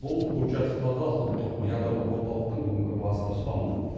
бұл курчатовтағы ұлттық ядролық орталықтың бүгінгі басты ұстанымы